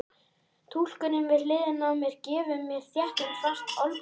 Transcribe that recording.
Túlkurinn við hliðina á mér gefur mér þéttingsfast olnbogaskot.